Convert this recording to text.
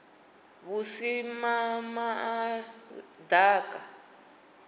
vhusimamaḓaka